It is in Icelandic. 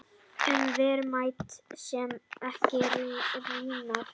Um verðmæti sem ekki rýrna.